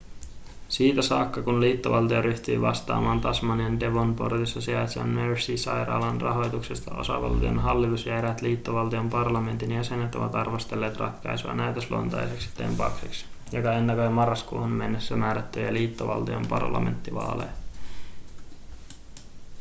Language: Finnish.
siitä saakka kun liittovaltio ryhtyi vastaamaan tasmanian devonportissa sijaitsevan mersey-sairaalan rahoituksesta osavaltion hallitus ja eräät liittovaltion parlamentin jäsenet ovat arvostelleet ratkaisua näytösluontoiseksi tempaukseksi joka ennakoi marraskuuhun mennessä määrättäviä liittovaltion parlamenttivaaleja